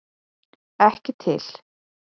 Ekki til!